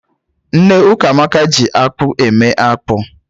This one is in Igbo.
Nne Ukamaka ji akpụ eme akpụ.